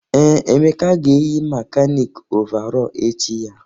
Ee, Emeka ga-eyi mekanịkị ọvarọọr echi ya.